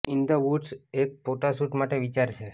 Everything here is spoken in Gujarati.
ઇન ધ વૂડ્સ એક ફોટો શૂટ માટે વિચાર છે